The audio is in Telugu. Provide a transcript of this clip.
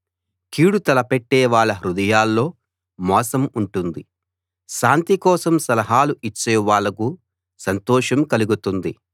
కీడు తలపెట్టేవాళ్ళ హృదయాల్లో మోసం ఉంటుంది శాంతి కోసం సలహాలు ఇచ్చేవాళ్ళకు సంతోషం కలుగుతుంది